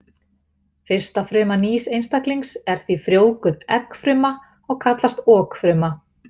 Fyrsta fruma nýs einstaklings er því frjóvguð eggfruma og kallast okfruma.